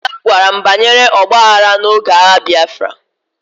Nna nna m gwara m banyere ọgba aghara n'oge agha Biafra